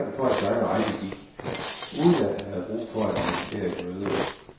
Starten på hans lange rejse gik, uden at han havde brug for at organisere et møde.